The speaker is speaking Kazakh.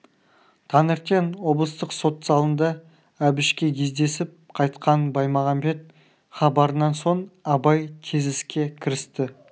таңертең облыстық сот залында әбішке кездесіп қайтқан баймағамбет хабарынан соң абай тез іске кірісті